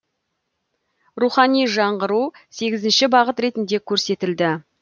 рухани жаңғыру сегізінші бағыт ретінде көрсетілді